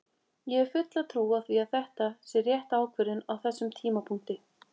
Ég hef fulla trú á því að þetta sé rétt ákvörðun á þessum tímapunkti.